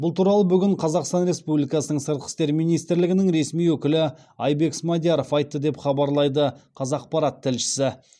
бұл туралы бүгін сыртқы істер министрлігінің ресми өкілі айбек смадияров айтты деп хабарлайды қазақпарат тілшісі